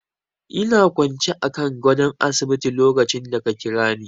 Ina kwance akan gadon asibiti lokacin da ka Kirani.